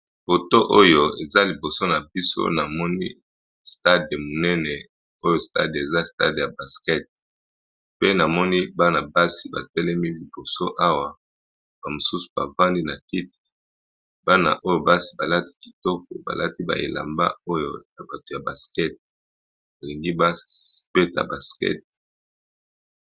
Foto oyo eza liboso na biso namoni stade monene oyo stade eza stade ya basket, mpe namoni bana basi ba telemi liboso awa ba mosusu bafandi na kiti. Bana oyo basi balati kitoko balati ba elamba oyo na bato ya basket, ba lingi ba beta basket.